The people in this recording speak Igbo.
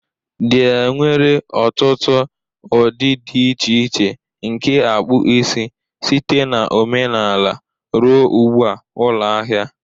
There nwere ọtụtụ ụdị dị iche iche nke akpụ isi, site na omenala ruo ugbu a. Ụlọ ahịa